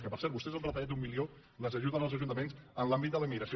que per cert vostès han retallat un milió a les ajudes als ajuntaments en l’àmbit de la immigració